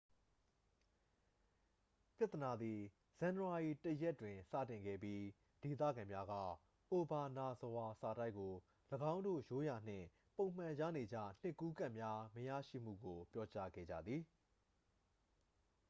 ပြဿနာသည် ဇန်နဝါရီ 1ရက်တွင် စတင်ခဲ့ပြီး ဒေသခံများက အိုဘာနာဇဝါ စာတိုက်ကို ၎င်းတို့ ရိုးရာနှင့် ပုံမှန်ရနေကျ နှစ်ကူးကတ်များမရရှိမှုကို ပြောကြားခဲ့ကြသည်